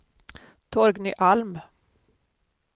Torgny Alm